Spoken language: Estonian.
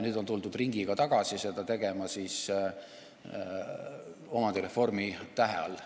Nüüd on tuldud ringiga tagasi tegema seda omandireformi tähe all.